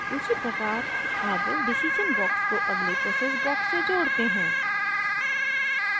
उसी प्रकार अब decision box को अगले process box से जोड़ते हैं